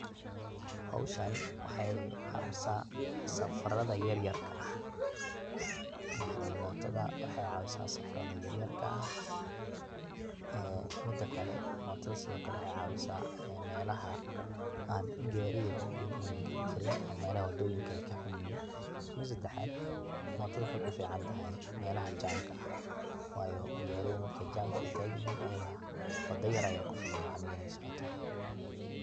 howshan waxay caawisa safarada yaryarka ah, yacni motada waxay caawisa safarada yaryarka ah ee midakale motada sidokale waxay caawiasa melaha an gaawarida waweyn an geli karin ama melaha wadooyinka ay kaxun yihin, mida sedexaad motada waxay kuficantahay melaha jamka ah wayo gaawarida markay jamka ay tagan yihin ayada wada yar aya kufilan yacni inay socoto